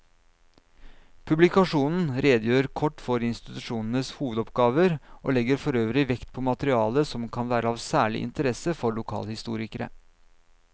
Publikasjonen redegjør kort for institusjonenes hovedoppgaver og legger forøvrig vekt på materiale som kan være av særlig interesse for lokalhistorikere.